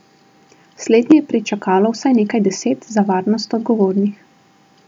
Slednje je pričakalo vsaj nekaj deset za varnost odgovornih.